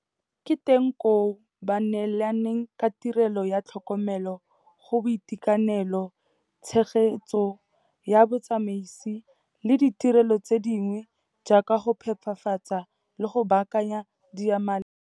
Ke teng koo ba neelanang ka tirelo ya tlhokomelo go boitekanelo, tshegetso ya botsamaisi le ditirelo tse dingwe jaaka go phepafatsa le go baakanya diyamaleng.